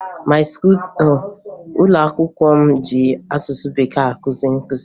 Ụlọakwụkwọ m ji asụsụ Bekee akụzi nkụzi